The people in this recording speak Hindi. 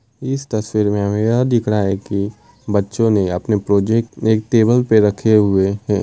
इस तस्वीर में हमें यह दिखाई दे रहा है कि बच्चों ने अपने प्रोजेक्ट एक टेबल पे रखे हुए है ।